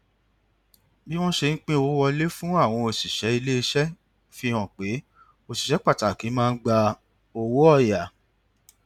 bí wọn ṣe ń pín owó wọlé fún àwọn òṣìṣẹ ilé iṣẹ fi hàn pé òṣìṣẹ pàtàkì máa ń gba owó ọyà